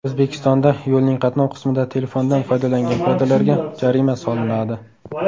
O‘zbekistonda yo‘lning qatnov qismida telefondan foydalangan piyodalarga jarima solinadi .